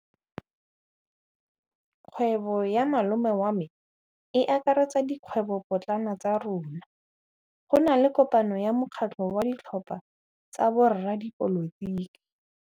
Kgwêbô ya malome wa me e akaretsa dikgwêbôpotlana tsa rona. Go na le kopanô ya mokgatlhô wa ditlhopha tsa boradipolotiki.